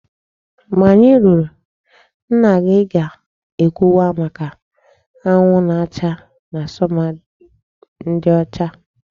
Mgbe anyị ruru, nna gị ga-ekwuwa maka anwụ na-acha na summer ndị ọcha